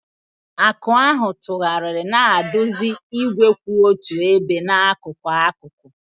Aka ahụ tụgharịrị, na-eduzi igwe kwụ otu ebe n'akụkụ akụkụ.